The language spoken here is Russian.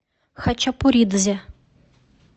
хачапуридзе